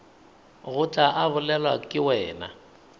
tloga a bolelwa ke wena